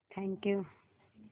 thank you